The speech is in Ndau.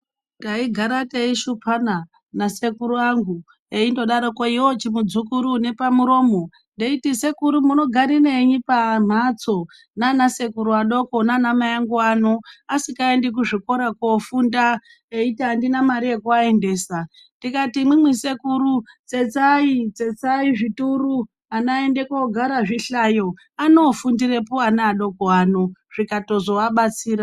Taigara teishupana nasekuru angu eindodaroko iwewe chimudzukuru unepamuromo ndeiti sekuru munogarirenyi pamhatso nanasekuru adoko nanaamai angu ano asikaendi kuzvikora koofunda eiti andina mare yekuaendesa ndikati imwimwi sekuru tsetsai ,tsetsai zvituru ana aende koogara zvihlayo anofundirepo ana adoko ano zvikatozoabatsira.